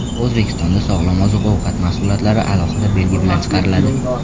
O‘zbekistonda sog‘lom oziq-ovqat mahsulotlari alohida belgi bilan chiqariladi.